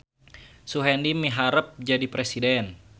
Suhendi miharep jadi presiden